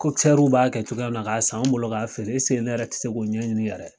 b'a kɛ cogoya min na k'a san anw bolo ka feere ne yɛrɛ ti se k'o ɲɛɲini n yɛrɛ ye.